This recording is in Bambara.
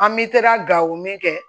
An bɛ taa gawo min kɛ